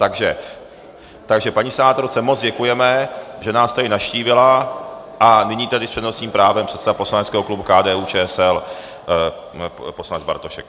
Takže paní senátorce moc děkujeme, že nás tady navštívila, a nyní tedy s přednostním právem předseda poslaneckého klubu KDU-ČSL poslanec Bartošek.